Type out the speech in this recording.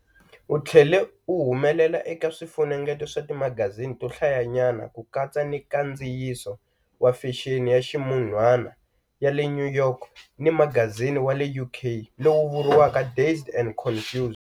U tlhele u humelela eka swifunengeto swa timagazini to hlayanyana, ku katsa ni nkandziyiso wa fexeni ya ximun'wana ya"le New York" ni magazini wa le UK"lowu vuriwaka Dazed and Confused".